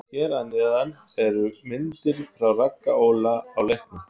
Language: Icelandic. Hér að neðan eru myndir frá Ragga Óla á leiknum.